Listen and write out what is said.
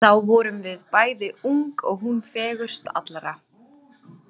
Þá vorum við bæði ung og hún fegurst allra.